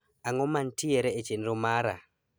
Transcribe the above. Ang'o mantiere e chenro mara?